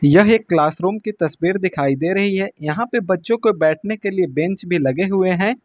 यह एक क्लासरूम की तस्वीर दिखाई दे रही है यहां पे बच्चों को बैठने के लिए बेंच भी लगे हुए हैं।